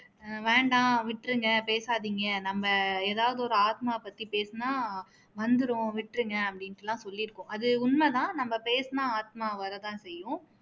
ஆஹ் வேண்டாம் விட்டுருங்க பேசாதீங்க நம்ம எதாவது ஒரு ஆத்மா பத்தி பேசுனா வந்துரும் விட்டுருங்க அப்படின்னுட்டு எல்லாம் சொல்லிருக்கோம் அது உண்மை தான் நம்ம பேசுனா ஆத்மா வர தான் செய்யும்